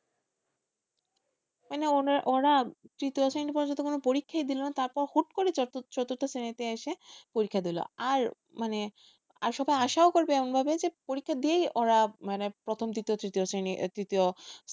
মানে ওরা তৃতীয় শ্রেণী পর্যন্ত কোনো পরীক্ষাই দিলো না তারপর হুট করে চতুর্থ শ্রেণীতে এসে পরীক্ষায় দিলো, আর মানে আর সবাই আসাও করবে এমন ভাবে ভাবে যে পরীক্ষা দিয়েই ওরা মানে প্রথম দ্বিতীয় তৃতীয় শ্রেণীর তৃতীয়,